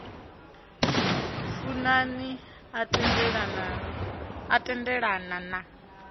funa ni a tendelana na